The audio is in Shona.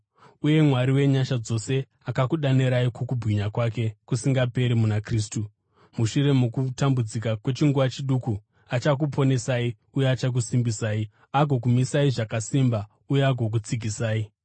Uye Mwari wenyasha dzose, akakudanirai kukubwinya kwake kusingaperi muna Kristu, mushure mokumbotambudzika kwechinguva chiduku, achakuponesai uye achakusimbisai, agokumisai zvakasimba uye agokutsigisai.